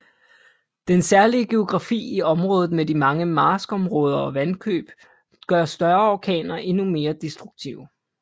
Den særlige geografi i området med de mange marskområder og vandløb gør større orkaner endnu mere destruktive